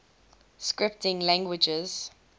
scripting languages